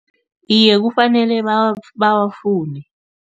Iye, kufanele bawafune.